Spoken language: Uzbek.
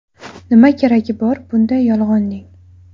Nima keragi bor bunday yolg‘onning?